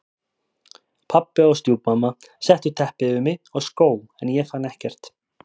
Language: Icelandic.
Pabbi og stjúpmamma settu teppi yfir mig og skó en ég fann ekkert.